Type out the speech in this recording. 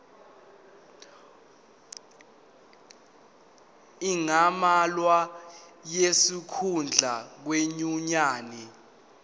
angamelwa ngonesikhundla kwinyunyane